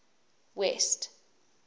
west